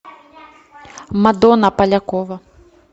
мадонна полякова